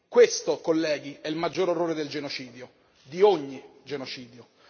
Questo colleghi è il maggior orrore del genocidio, di ogni genocidio.